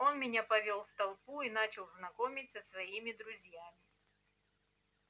он меня повёл в толпу и начал знакомить со своими друзьями